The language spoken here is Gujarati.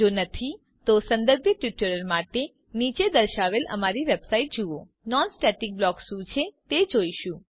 જો નહી તો સંબંધિત ટ્યુટોરીયલ માટે નીચે દર્શાવેલ અમારી વેબસાઈટ જુઓ httpwwwspoken tutorialઓર્ગ હવે આપણે નોન સ્ટેટિક બ્લોક શું છે તે જોઈશું